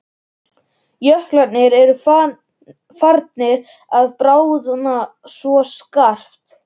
Jöklarnir eru farnir að bráðna svo skarpt.